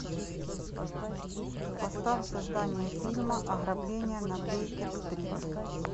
поставь создание фильма ограбление на бейкер стрит